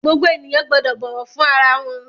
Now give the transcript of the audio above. Gbogbo ènìyàn gbọ́dọ̀ bọ̀wọ̀ fún ara wọn!